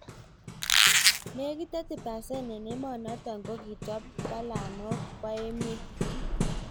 Nekit 30% eng emonotok kokitwaa palananok po emeet